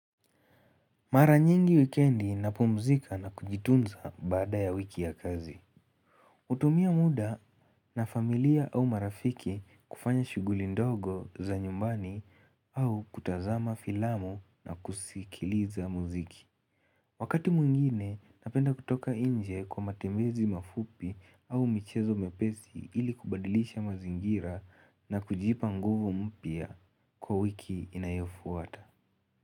Mara nyingi wikendi napumzika na kujitunza baada ya wiki ya kazi. Utumia muda na familia au marafiki kufanya shughuli ndogo za nyumbani au kutazama filamu na kusikiliza muziki. Wakati mwingine napenda kutoka inje kwa matembezi mafupi au michezo mepesi ili kubadilisha mazingira na kujipa nguvu mpya kwa wiki inayofuata.